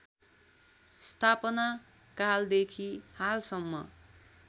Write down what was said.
स्थापना कालदेखि हालसम्म